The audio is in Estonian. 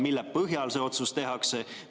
Mille põhjal see otsus tehakse?